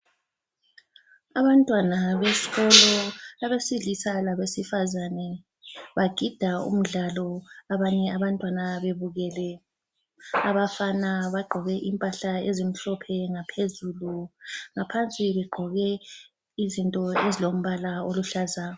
Abantwana besikolo abesilisa labesifazane bagida umdlalo abanye abantwana bebukele. Abafana bagqoke impahla ezimhlophe ngaphezulu ,ngaphansi begqoke izinto ezilombala oluhlaza.